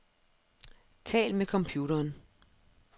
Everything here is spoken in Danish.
Tal med computeren.